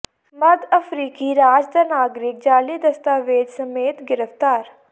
ਮੱਧ ਅਫਰੀਕੀ ਰਾਜ ਦਾ ਨਾਗਰਿਕ ਜਾਲੀ ਦਸਤਾਵੇਜ਼ ਸਮੇਤ ਗ੍ਰਿਫ਼ਤਾਰ